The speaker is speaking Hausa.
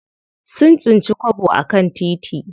Sun tsinci kwabo a kan titi.